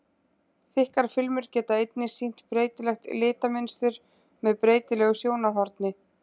Þykkar filmur geta einnig sýnt breytilegt litamynstur með breytilegu sjónarhorni.